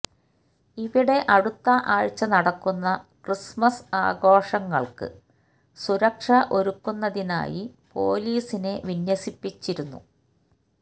ഇവിടെ അടുത്ത ആഴ്ച നടക്കുന്ന ക്രിസ്മസ് ആഘോഷങ്ങള്ക്ക് സുരക്ഷ ഒരുക്കുന്നതിനായി പോലീസിനെ വിന്യസിപ്പിച്ചിരുന്നു